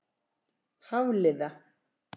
Hafliða